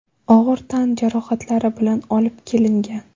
og‘ir tan jarohatlari bilan olib kelingan.